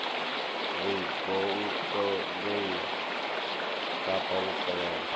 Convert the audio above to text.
wa goukou ngei kapa vhukovhela